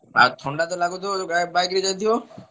ଆଉ ଥଣ୍ଡା ତ ଲାଗୁଥିବ ଯୋଉ ଆ bike ରେ ଯାଇଥିବ?